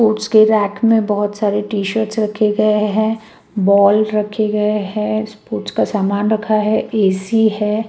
उसके रैक में बहोत सारे टी शर्ट्स रखे गए हैं बॉल रखे गए हैं स्पोर्ट्स का समान रखा है ए_सी है।